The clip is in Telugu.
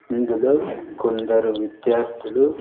ఇందులో కొందరు విద్యార్థులు.